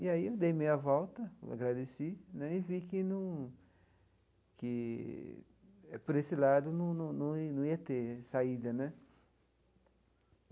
E aí eu dei meia volta, agradeci né, e vi que num que por esse lado num num num ia num ia ter saída né.